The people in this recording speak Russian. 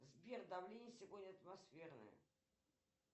сбер давление сегодня атмосферное